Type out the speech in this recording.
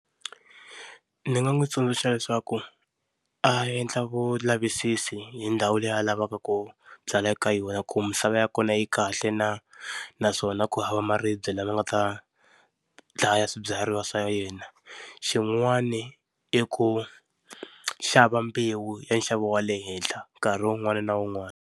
Ni nga n'wi tsundzuxa leswaku, a endla vulavisisi hi ndhawu leyi a lavaka ku byala eka yona ku misava ya kona yi kahle na, naswona ku hava maribye lama nga ta dlaya swibyariwa swa yena. Xin'wani i ku xava mbewu ya nxavo wa le henhla nkarhi wun'wani na wun'wani.